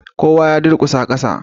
Kowa ya durkusa kasa